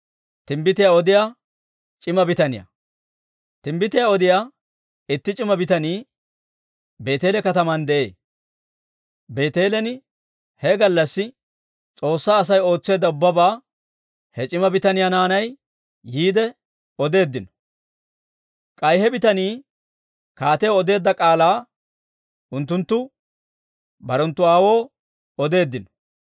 Timbbitiyaa odiyaa itti c'ima bitanii Beeteele kataman de'ee. Beeteelen he gallassi S'oossaa Asay ootseedda ubbabaa he c'ima bitaniyaa naanay yiide odeeddino; k'ay he bitanii kaatiyaw odeedda k'aalaa unttunttu barenttu aawoo odeeddino.